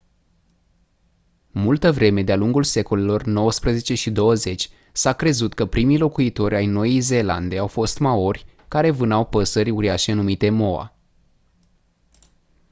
multă vreme de-a lungul secolelor nouăsprezece și douăzeci s-a crezut că primii locuitori ai noii zeelande au fost maori care vânau păsări uriașe numite moa